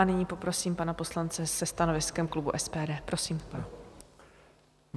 A nyní poprosím pana poslance se stanoviskem klubu SPD, prosím.